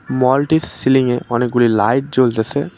মলটির সিয়ে অনেকগুলি লাইট জ্বলতেসে।